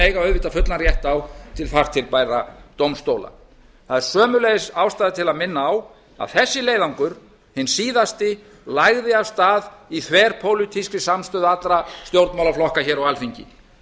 eiga auðvitað fullan rétt á á til þar til bærra dómstóla það er sömuleiðis ástæða til að minna á að þessi leiðangur hinn síðasti lagði af stað í þverpólitískri samstöðu allra stjórnmálaflokka hér á alþingi